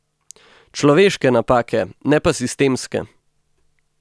Človeške napake, ne pa sistemske.